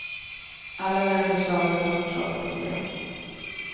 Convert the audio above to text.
Andra länders lagar kan orsaka problem.